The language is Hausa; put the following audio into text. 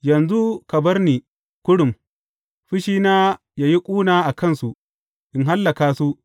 Yanzu ka bar ni kurum fushina yă yi ƙuna a kansu, in hallaka su.